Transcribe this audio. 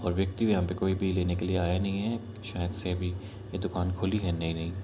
और व्यक्ति भी यहाँ पे कोई भी लेने के लिए आया नहीं है शायद से अभी यह दुकान खुली है नई-नई।